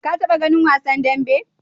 Ka taɓa ganin wasan dambe?